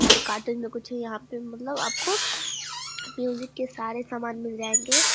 और काटन में कुछ यहाँ पे मतलब आपको म्यूजिक के सारे सामान मिल जाएंगे।